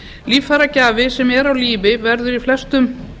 líffæragjafi sem er á lífi verður í flestum